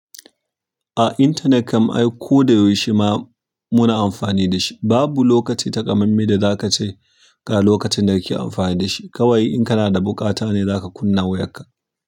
A intanet kam ai ko da yau she ma muna amfani da shi, babu lokaci taƙammame da zaka ce ga lokacin da kake amfani da shi. Kawai in kana da buƙata ne zaka kunna wayarka.